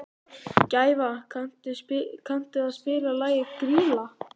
Gæfa, kanntu að spila lagið „Grýla“?